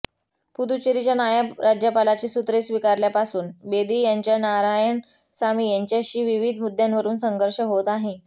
पुद्दुचेरीच्या नायब राज्यपालपदाची सुत्रे स्वीकारल्यापासून बेदी यांचा नारायणसामी यांच्याशी विविध मुद्द्यांवरून संघर्ष होत आहे